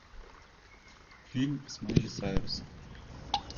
фильм с майли сайрус